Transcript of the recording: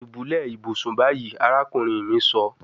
Dubulẹ ibusun bayi, arakunrin mi sọ